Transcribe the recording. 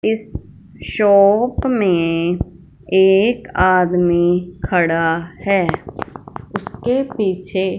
इस शॉप में एक आदमी खड़ा है। उसके पीछे--